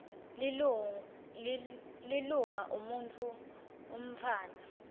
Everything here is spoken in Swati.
lilunga umuntfu umntfwana